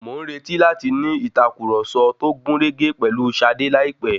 Mò ǹretì láti ní ìtàkurọ̀sọ tó gúnrégé pèlú Ṣadé láìpẹ́.